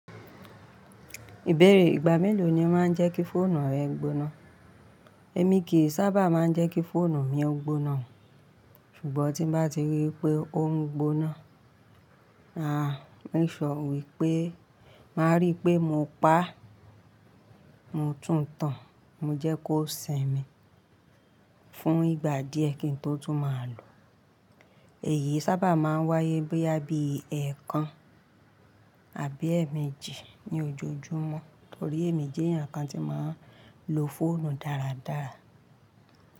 Ìbéèrè ìgbà mélòó ni o máa ń jẹ́ kí fóònù rẹ gbóná? Èmi kì í sábà máa ń jẹ́ kí fóònù mi ó gbóná, ṣùgbọ́n tí bá ti rí pé ó ń gbóná, aà, mo ìsọ wípé, màá ríi pé mo pa á, mo tún tan, mo jẹ́ kó sìn mi fún ìgbà díẹ̀ kí n tó tún máa lò ó. Èyí sábà máa ń wáyé boya bí ẹẹkan àbí ẹẹ̀mẹjì ní ojojúmọ́, torí èmi jẹ́ ẹnìkan tí màá ń lo fóònù dáradára.